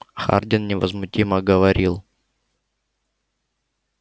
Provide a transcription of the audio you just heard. хардин невозмутимо говорил